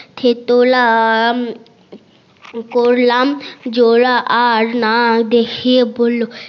থেতলা করলাম জোরা তার নাক দেখিয়ে বললো